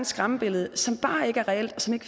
skræmmebillede som bare ikke er reelt og som